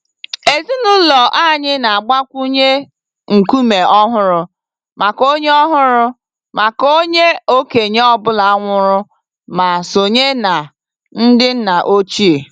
Ezinụlọ anyị na-agbakwunye nkume ọhụrụ maka onye ọhụrụ maka onye okenye ọ bụla nwụrụ ma sonye na ndị nna ochie.